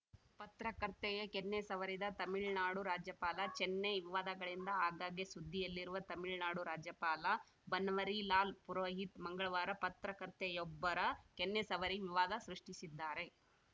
ಪತ್ರಕರ್ತೆಯ ಕೆನ್ನೆ ಸವರಿದ ತಮಿಳ್ನಾಡು ರಾಜ್ಯಪಾಲ ಚೆನ್ನೈ ವಿವಾದಗಳಿಂದ ಆಗಾಗ್ಗೆ ಸುದ್ದಿಯಲ್ಲಿರುವ ತಮಿಳ್ನಾಡು ರಾಜ್ಯಪಾಲ ಬನ್ವರಿಲಾಲ್‌ ಪುರೋಹಿತ್‌ ಮಂಗಳವಾರ ಪತ್ರಕರ್ತೆಯೊಬ್ಬರ ಕೆನ್ನೆ ಸವರಿ ವಿವಾದ ಸೃಷ್ಟಿಸಿದ್ದಾರೆ